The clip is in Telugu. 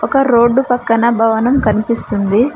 ఒక రోడ్డు పక్కన భవనం కనిపిస్తుంది.